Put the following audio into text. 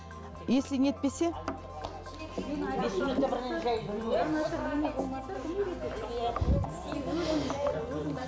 если не етпесе